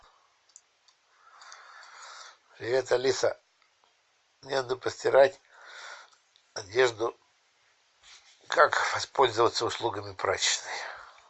привет алиса мне надо постирать одежду как воспользоваться услугами прачечной